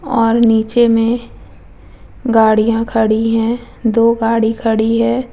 और नीचे में गाड़ियां खड़ी है दो गाड़ी खड़ी हैं ।